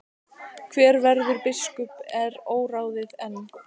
Hver verður biskup er óráðið enn.